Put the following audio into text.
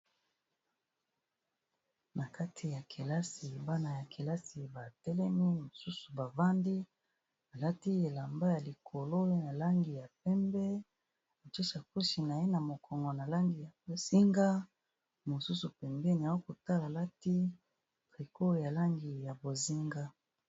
Na kati ya kelasi bana ya kelasi ba telemi mosusu bavandi, alati elamba ya likolo na langi ya pembe. Atshe sakoshi na ye na mokongo na langi ya bozinga, mosusu pembeni a kotala alati tricot ya langi ya bozinga.